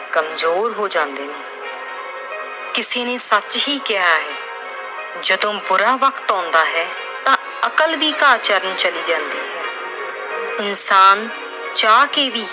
ਕਮਜ਼ੋਰ ਹੋ ਜਾਂਦੇ ਨੇ। ਕਿਸੇ ਨੇ ਸੱਚ ਹੀ ਕਿਹਾ ਹੈ ਜਦੋਂ ਬੁਰਾ ਵਕਤ ਆਉਂਦਾ ਏ, ਤਾਂ ਅਕਲ ਵੀ ਘਾਹ ਚਰਣ ਚਲੀ ਜਾਂਦੀ ਏ। ਇਨਸਾਨ ਚਾਹ ਕੇ ਵੀ